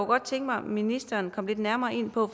godt tænke mig ministeren kom lidt nærmere ind på